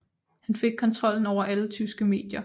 Han fik kontrollen over alle tyske medier